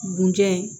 Bunja ye